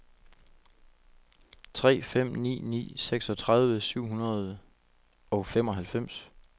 tre fem ni ni seksogtredive syv hundrede og femoghalvfems